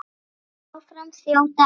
Áfram þjóta árin